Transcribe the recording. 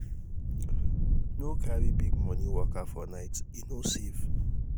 no carry big money waka for night e no dey safe